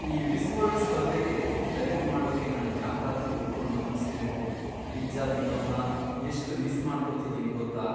ಈ Miss World ಸ್ಪರ್ಧೆಗೆ diet ಮಾಡೋಕೆ ನಾನ್ ಯಾಕಾದ್ರೂ ಒಪ್ಕೊಂಡ್ನೋ ಅನ್ಸ್ತಿದೆ. ಪಿಜ್ಜಾ ತಿನ್ನೋದ್ನ ಎಷ್ಟ್ ಮಿಸ್ ಮಾಡ್ಕೊತಿದೀನಿ ಗೊತ್ತಾ?